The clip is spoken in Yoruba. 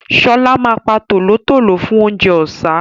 Ṣọlá ma pa tòlótòló fún oúnjẹ ọ̀sá